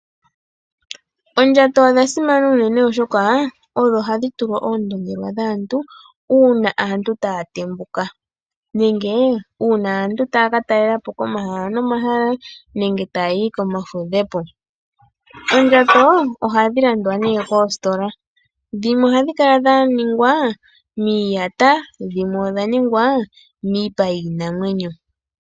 Oondjato odha simana unene oshoka odho hadhi tulwa oondongelwa dhaantu una aantu taya tembuka, nenge una aantu ta ya katalelapo komahala nomahala nenge ta yayi komafudhepo. Oondjato ohadhi landwa ne moostola dhimwe ohadhi kala dha ningwa miiyata nodhimwe omipa yiinamwenyo.